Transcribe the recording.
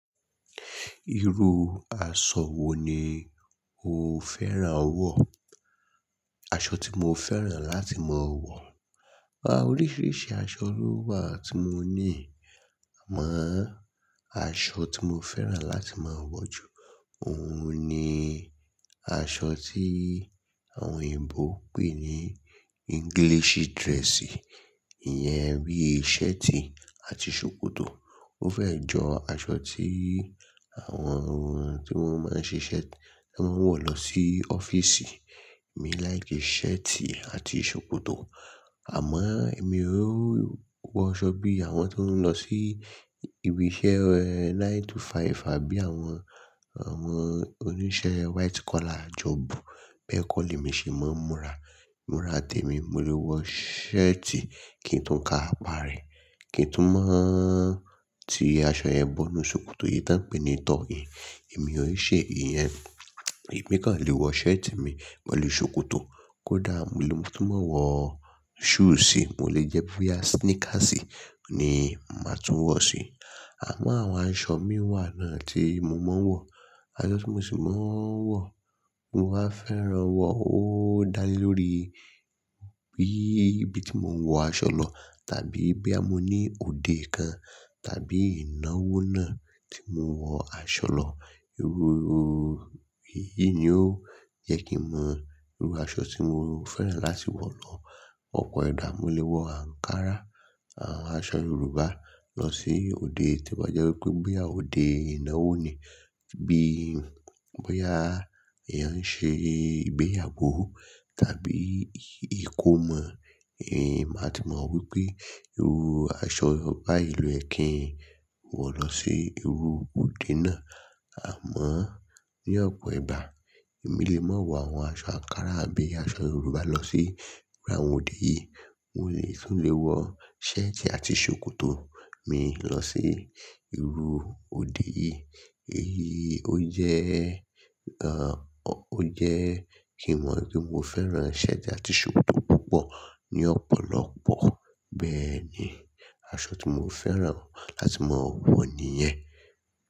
Irú aṣọ wo ni o fẹ́ràn wọ̀? Aṣọ tí mo fẹ́ràn láti máa wọ̀, wa, oríṣiríṣi aṣọ ló wà tí mo níi. Àmọ aṣọ tí mo fẹ́ràn láti máa wọ̀ jù, òun ni aṣọ tí àwọn òyìnbó ń pè ní English dress. Iyẹn bí i shirt àti ṣòkòtò. Mo fẹ́ jọ aṣọ tí àwọn tí wọ́n máa ń ṣe shirt tí wọ́n ń wọ̀ lọ sí ọ́fíìsì. Mi like shirt àti ṣòkòtò. Àmá èmi ó wọ aṣọ bí àwọn tó ń lọ sí ibi iṣẹ́ nine to five àbí àwọn ọmọ oníṣẹ́ white collar job. Bẹ́ẹ̀ kọ́ l'èmi ṣe máa ń múra. Múra tèmi, mo lè wọ shirt kí n tún ka apá rẹ̀, kí n tún máa ti aṣọ yẹn bọ́nu ṣòkòtò yìí tí wọ́n ń pè ní tuck in. Èmi ò n ṣe iyẹn. Èmi kàn lè wọ shirt mi pẹ̀lú ṣòkòtò. Kódà mo lè tún máa wọ shoe si, mo lè jẹ́ pé ya sneakers ni màá tún wọ̀ sí. Àmọ àwọn aṣọ mii wà náà tí mo máa ń wọ̀, aṣọ tí mo sì máa ń wọ̀, mo más n fẹ́ràn wọ ọ́ dálé lórí bí ibi tí mò ń wọ aṣọ lọ tàbí bí a mo ní òde kan tàbí ìnáwó náà tí mò ń wọ aṣọ lọ. Irú ru yìí ni ó jẹ kí n mọ irú aṣọ tí mò ń fẹ́ràn láti wọ̀ tọ. Ọ̀pọ̀ ẹ̀dá mo lè wọ ankara, aṣọ Yorùbá lọ sí òde tí o ba jẹ́ wípé bo ya òde ìnáwó ni. Bí i bóyá èèyàn ń ṣe ìgbéyàgó tàbí ìkómọ, ẹn máa ti mọ̀ wípé irú aṣọ báyìí ló yẹ kí ń wọ̀ lọ sí irú òde náà. Àmá ní ọ̀pọ̀ ẹ̀dá, èmi lè máa wọ àwọn aṣọ ankara àbí aṣọ Yorùbá lọ sí irú àwọn òde yìí. Mo lè tún lè wọ shirt àti ṣòkòtò mi lọ sí irú òde yìí. Èyí ó jẹ́, ò ó jẹ́ kí mọ̀ wípé mo fẹ́ràn shirt àti ṣòkòtò púpọ̀ ní ọ̀pọ̀lọpọ̀. Bẹ́ẹ̀ ni, aṣọ tí mo fẹ́ràn láti máa wọ̀ ni iyẹn.